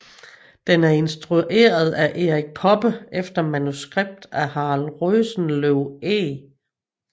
Den er instrueret af Erik Poppe efter manuskript af Harald Rosenløw Eeg